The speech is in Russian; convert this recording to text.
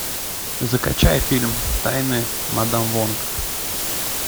закачай фильм тайны мадам вонг